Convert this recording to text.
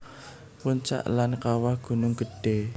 Puncak lan Kawah Gunung Gedhé